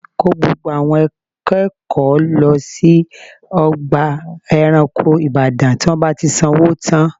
Kó gbogbo àwọn akẹ́kọ̀ọ́ lọ sí ọgbà ẹranko ìbàdàn tí wọ́n bá ti sanwó tán